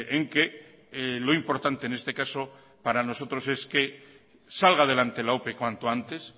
en que lo importante en este caso para nosotros es que salga adelante la ope cuanto antes